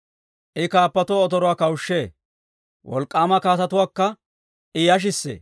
I kaappotuwaa otoruwaa kawushshee; wolk'k'aama kaatetuwaakka I yashissee.